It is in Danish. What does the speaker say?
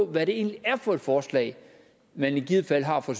hvad det egentlig er for et forslag man i givet fald har fra